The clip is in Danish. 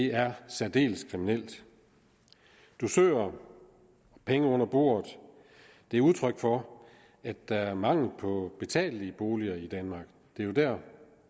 er særdeles kriminelt dusører og penge under bordet er udtryk for at der er mangel på betalelige boliger i danmark det er jo der